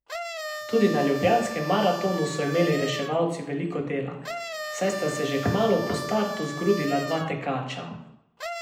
Tudi na ljubljanskem maratonu so imeli reševalci veliko dela, saj sta se že kmalu po startu zgrudila dva tekača.